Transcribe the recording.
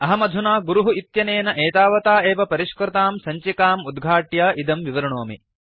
अहमधुना गुरुः इत्यनेन एतावता एव परिष्कृतां सञ्चिकाम् उद्घाट्य इदं विवृणोमि